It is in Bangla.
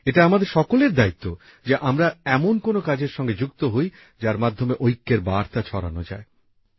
এটা আমাদের সকলের দায়িত্ব যে আমরা এমন কোনো কাজের সঙ্গে যুক্ত হই যার মাধ্যমে ঐক্যের বার্তা ছড়ানো যায়